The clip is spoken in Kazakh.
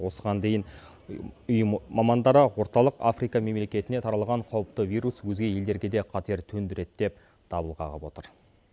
осыған дейін ұйым мамандары орталық африка мемлекетіне таралған қауіпті вирус өзге елдерге де қатер төндіреді деп дабыл қағып отыр